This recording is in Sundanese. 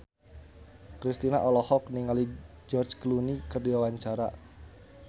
Kristina olohok ningali George Clooney keur diwawancara